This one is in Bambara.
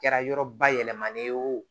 Kɛra yɔrɔ bayɛlɛmalen ye o